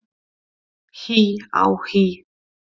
HÍ á HÍ!